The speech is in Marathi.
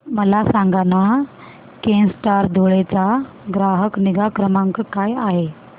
मला सांगाना केनस्टार धुळे चा ग्राहक निगा क्रमांक काय आहे